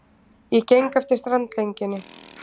Ég geng eftir strandlengjunni.